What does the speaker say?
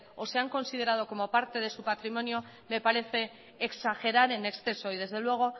o se han considerado como parte de su patrimonio me parece exagerar en exceso y desde luego